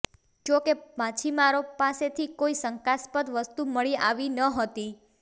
જો કે માછીમારો પાસેથી કોઈ શંકાસ્પદ વસ્તુ મળી આવી ન હતી